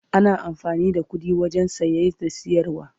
ana amfani da ƙuɗi wajen saye da siyarwa